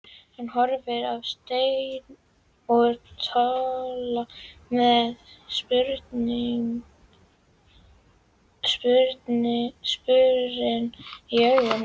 Hann horfir á Steina og Tolla með spurn í augum.